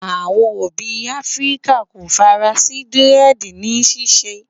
àwọn òbí áfríkà kò fara sí diredi ni ṣiṣẹ